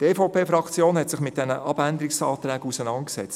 Die EVP-Fraktion hat sich mit diesen Abänderungsanträgen auseinandergesetzt;